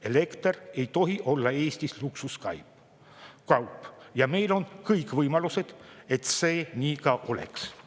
Elekter ei tohi olla Eestis luksuskaup ja meil on kõik võimalused, et see nii ka oleks.